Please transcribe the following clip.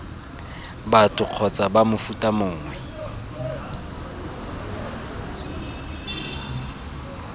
batho kgotsa b mofuta mongwe